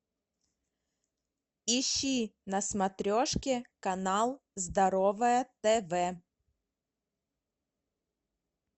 ищи на смотрешке канал здоровое тв